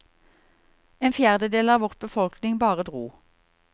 En fjerdedel av vår befolkning bare dro.